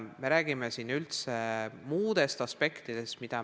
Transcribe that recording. Me räägime siin üldse muudest aspektidest.